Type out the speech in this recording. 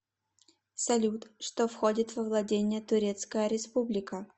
салют что входит во владения турецкая республика